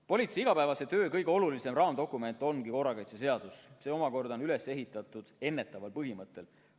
Politsei igapäevase töö kõige olulisem raamdokument ongi korrakaitseseadus, mis on üles ehitatud ennetamise põhimõttel.